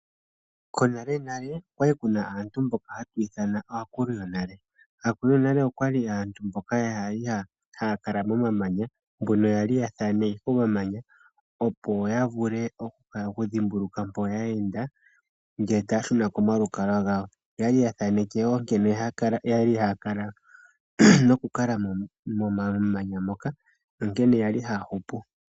Konalenale okwali kuna aantu mboka haya ithanwa aakulu yonale. Aakulu yonale aantu mboka kwali haya kala momamanya mbono yali haya thaneke omamanya, opo yadhimbulukwe mpoka yeenda ngele taya shuna komalukalwa gawo. Oyali ya thaneke woo nkene yali haya kala nokukala momamanya moka, nankene yali haya hupu.